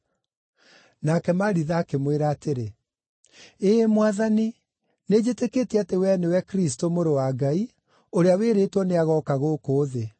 Nake Maritha akĩmwĩra atĩrĩ, “Ĩĩ Mwathani, nĩnjĩtĩkĩtie atĩ wee nĩwe Kristũ, Mũrũ wa Ngai, ũrĩa wĩrĩtwo nĩagooka gũkũ thĩ.”